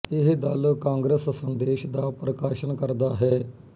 ਇਹ ਦਲ ਕਾਂਗਰਸ ਸੰਦੇਸ਼ ਦਾ ਪ੍ਰਕਾਸ਼ਨ ਕਰਦਾ ਹੈ